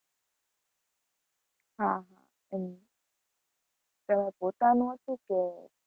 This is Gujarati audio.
હા હા, એમ તમારે પોતાનું હતું કે